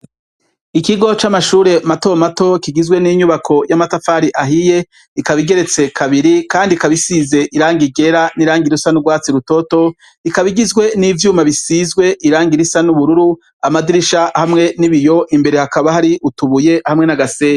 Ikigo c'amashure matomato kigizwe n'inyubako y'amatafari ahiye, ikaba igeretse kabiri kandi ikaba isize irangi ryera n'irangi risa n'urwatsi rutoto, ikaba igizwe n'ivyuma bisizwe irangi risa n'ubururu, amadirisha hamwe n'ibiyo imbere hakaba hariko isima n'agasenyi.